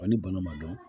Wa ni bana ma dɔn